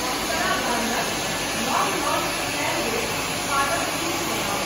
अप्सरा ब्रांडक नव लॉन्च कयल गेल उत्पादक सूची बनाउ।